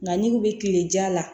Nka ni mun bɛ kile ja la